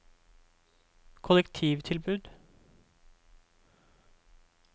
kollektivtilbud